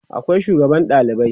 akwai sugaban ɗalibai